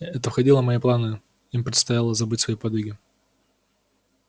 это входило в мои планы им предстояло забыть свои подвиги